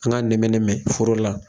An k'a nɛmɛ nɛmɛ foro la.